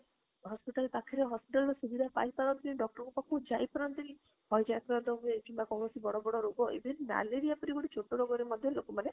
hospital ପାଖରେ hospital ର ସୁବିଧା ପାଇ ପରନ୍ତିନି doctor ପାଖକୁ ଯାଇ ପରନ୍ତିନି କିମ୍ବା କୌଣସି ବଡ ବଡ ରୋଗ even malaria ପରି ଗୋଟେ ଛୋଟ ରୋଗ ଟେ ମଧ୍ୟ ଲୋକ ମାନେ